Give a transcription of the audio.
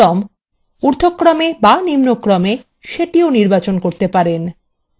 আপনি এখান থেকে সুচির ক্রম ঊর্ধক্রমে বা নিম্নক্রমেসেটিও নির্বাচন করতে পারেন